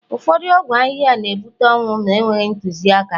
ụfọdụ ọgwụ ahịhịa na ebuta ọnwụ ma enweghị ntụziaka